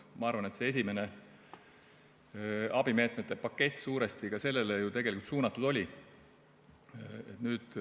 Ma arvan, et esimene abimeetmete pakett suuresti sellele ju tegelikult suunatud oli.